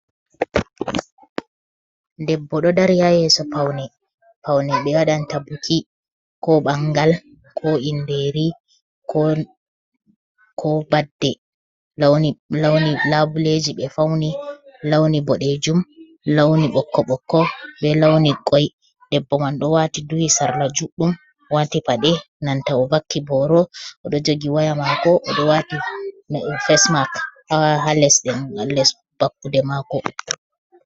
Debbo ɗo dari ha yeso paune, paune ɓe waɗan ta buki ko ɓangal, ko inderi, ko badde, launi labuleji ɓe fauni launi boɗejum, launi ɓokko ɓokko, be launi koi, debbo man ɗo wati duwi sarla juɗɗum wati paɗe nanta o vaki boro oɗo jogi waya mako oɗo wati m fesmak ha les dengal les vakkude mako.